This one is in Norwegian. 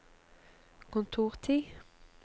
kontortid